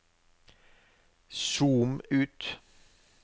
zoom ut